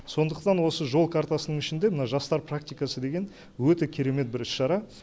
сондықтан осы жол картасының ішінде мына жастар практикасы деген өте керемет бір іс шара